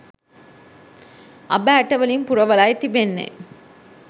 අබ ඇටවලින් පුරවලයි තිබෙන්නේ